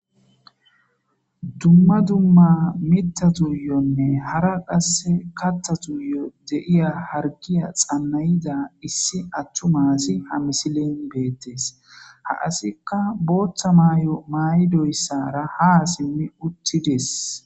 dumma dumma mita tuuyonne hara qasse katta tuuyo de'iya hargiya xannayida issi attuma asi ha misilen beettes ha asikka booththa maayo mayidoyssara ha simmi uttides